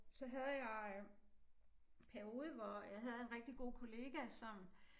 Så jeg havde jeg øh periode hvor jeg havde en rigtig god kollega som